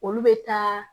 Olu bɛ taa